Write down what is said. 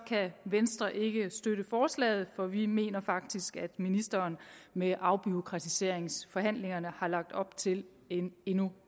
venstre ikke støtte forslaget for vi mener faktisk at ministeren med afbureaukratiseringsforhandlingerne har lagt op til en endnu